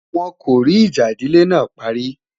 wón kò rí ìjà ìdílé nà parí